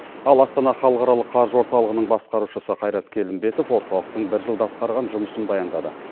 ал астана халықаралық қаржы орталығының басқарушысы қайрат келімбетов орталықтың бір жылда атқарған жұмысын баяндады